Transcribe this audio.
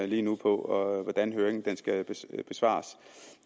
lige nu på hvordan høringen skal besvares